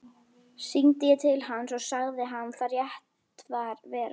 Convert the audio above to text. Hringdi ég til hans og sagði hann það rétt vera.